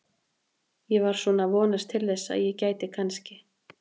Ég var svona að vonast til þess að ég gæti kannski.